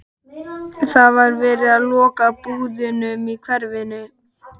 Það er verið að loka búðunum í hverfinu.